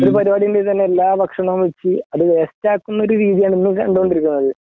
ഒരു പരിപാടി ഉണ്ടെങ്കിൽ എല്ലാ ഭക്ഷണവും വെച്ചു അത് വേസ്റ്റ് ആക്കുന്ന ഒരു രീതിയാണ് ഇന്ന് കണ്ടുകൊണ്ടിരിക്കുന്നത്.